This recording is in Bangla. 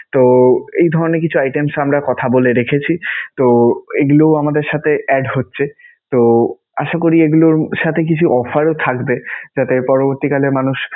তো এই ধরণের কিছু items ও আমরা কথা বলে রেখেছি. তো এইগুলো আমাদের সাথে add হচ্ছে. তো আশা করি এগুলোর সাথে কিছু offer ও থাকবে যাতে পরবর্তীকালে মানুষ